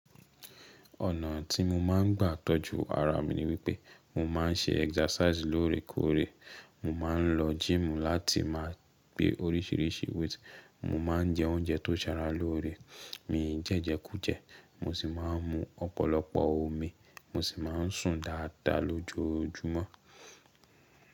Ọ̀nà tí mo máa ń gbà tọ́jú ara mi ni wípé mo máa ń ṣe exercise lóore kóóre, mo máa ń lọ gym láti máa gbé orísìírísìí weight, mo máa ń jẹ oúnjẹ tó ń sara lóore, mi ò jẹjẹkú jẹ, mo sì máa ń mu ọ̀pọ̀lọpọ̀ omi, mo sì máa ń sùn dáadáa lójoojúmọ́.